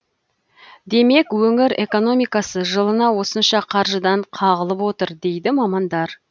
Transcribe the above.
демек өңір экономикасы жылына осынша қаржыдан қағылып отыр дейді мамандар